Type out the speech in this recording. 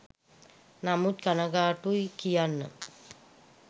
නමුත් කනගාටුයි කියන්න